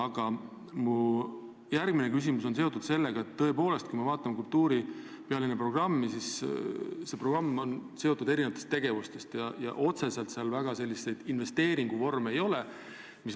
Aga mu järgmine küsimus on seotud sellega, et kui me vaatame kultuuripealinna programmi, siis me näeme, et see koosneb erinevatest tegevustest, ent otseselt seal väga selliseid investeeringuvorme ei ole.